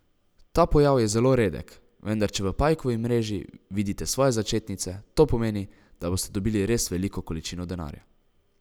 Ta pojav je zelo redek, vendar če v pajkovi mreži vidite svoje začetnice, to pomeni, da boste dobili res veliko količino denarja.